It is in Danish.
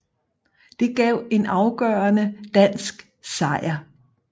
Det gav en afgørende dansk sejr